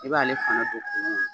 I b'ale fana don kumu na.